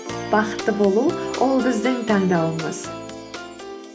бақытты болу ол біздің таңдауымыз